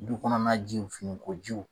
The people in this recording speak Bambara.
Du kɔnɔna jiw finiko jiw